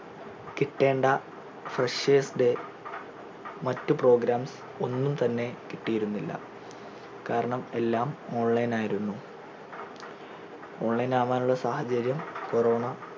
കിട്ടേണ്ട freshers day മറ്റ് program ഒന്നും തന്നെ കിട്ടിയിരുന്നില്ല കാരണം എല്ലാം online ആയിരുന്നു online ആവാൻ ഉള്ള സാഹചര്യം corona